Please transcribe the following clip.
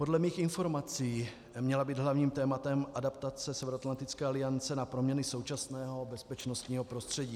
Podle mých informací měla být hlavním tématem adaptace Severoatlantické aliance na proměny současného bezpečnostního prostředí.